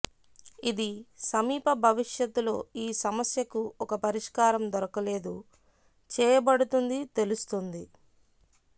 ఇది సమీప భవిష్యత్తులో ఈ సమస్యకు ఒక పరిష్కారం దొరకలేదు చేయబడుతుంది తెలుస్తోంది